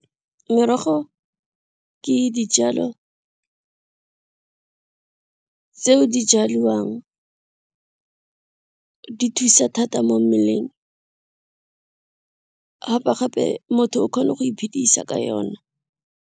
Merogo ke dijalo tseo di jaliwang di thusa thata mo mmeleng gape gape motho o kgone go iphedisa ka yona.